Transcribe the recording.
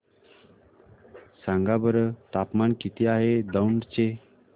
सांगा बरं तापमान किती आहे दौंड चे